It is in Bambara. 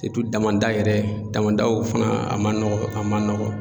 Sirutu damandaw yɛrɛ damandaw fɛnɛ a ma nɔgɔn a ma nɔgɔn